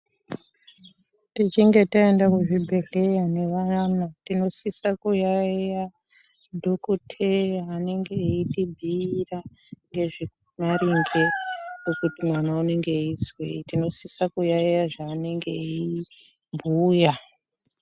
Tichinge taenda kuchibhedhleya nevayana tinosisa kuyaiya dhokoteya anenge eitibhiira ngezvemaringe nekuti mwana unenge eizwei tinosise kuyaiya zvaanenge eibhuya.